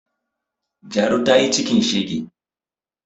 Jaru ta yi cikin shege